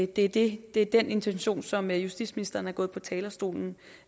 det det er den intention som justitsministeren er gået på talerstolen